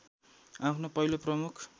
आफ्नो पहिलो प्रमुख